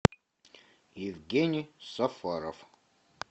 евгений сафаров